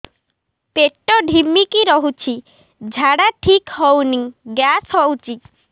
ପେଟ ଢିମିକି ରହୁଛି ଝାଡା ଠିକ୍ ହଉନି ଗ୍ୟାସ ହଉଚି